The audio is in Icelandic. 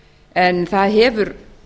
en það hefur